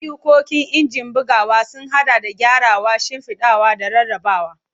Ayyukan injin bugawa sun haɗa da gyarawa, shimfiɗawa, da rarrabawa.